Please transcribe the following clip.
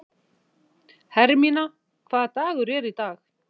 Hermína, hvaða dagur er í dag?